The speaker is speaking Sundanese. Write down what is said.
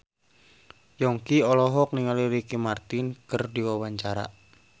Yongki olohok ningali Ricky Martin keur diwawancara